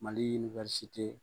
Mali